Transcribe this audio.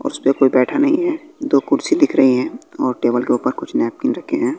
उस पे कोई बैठा नहीं है दो कुर्सी दिख रही हैं और टेबल के ऊपर कुछ नैपकिन रखे हैं।